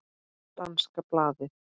Danska blaðið